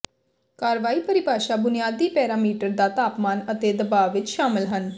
ਕਾਰਵਾਈ ਪਰਿਭਾਸ਼ਾ ਬੁਨਿਆਦੀ ਪੈਰਾਮੀਟਰ ਦਾ ਤਾਪਮਾਨ ਅਤੇ ਦਬਾਅ ਵਿੱਚ ਸ਼ਾਮਲ ਹਨ